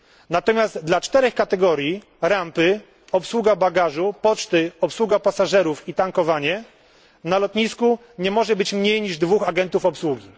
Natomiast dla czterech kategorii rampy, obsługi bagażu, poczty, obsługi pasażerów i tankowania na lotnisku nie może być mniej niż dwóch agentów obsługi.